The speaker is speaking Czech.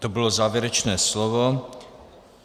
To bylo závěrečné slovo.